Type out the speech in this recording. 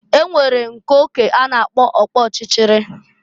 E nwere nke oke a na-apkọ ọkpọchịchịrị.